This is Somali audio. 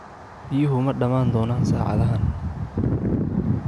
Biyuhu ma dhammaan doonaan saacaddan?